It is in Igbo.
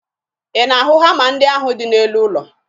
Ị na-ahụ hama ahụ dị n'elu ụlọ?